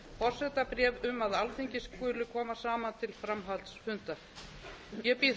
forsetabréf um að alþingi skuli koma saman til framhaldsfunda ég býð